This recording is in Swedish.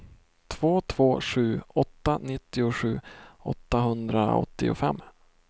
två två sju åtta nittiosju åttahundraåttiofem